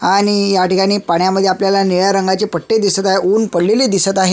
आणि ह्या ठिकाणी पाण्यामध्ये आपल्याला निळ्या रंगाचे पट्टे दिसत आहे ऊन पडलेले दिसत आहे.